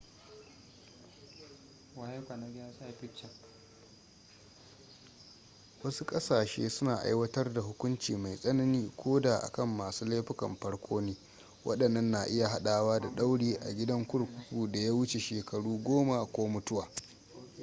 wasu ƙasashe suna aiwatar da hukunci mai tsanani ko da a kan masu laifukan farko ne waɗannan na iya haɗawa da ɗauri a gidan kurkuku da ya wuce shekaru 10 ko mutuwa